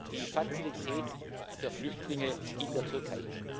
Die Fazilität für Flüchtlinge in der Türkei.